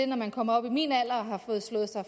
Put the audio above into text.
når man kommer op i min alder og har fået slået sig